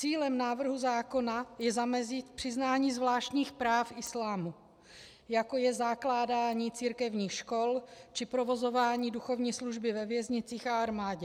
Cílem návrhu zákona je zamezit přiznání zvláštních práv islámu, jako je zakládání církevních škol či provozování duchovní služby ve věznicích a armádě.